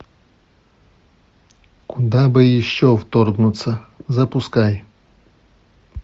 куда бы еще вторгнуться запускай